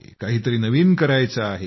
काही तरी नवीन करायचं आहे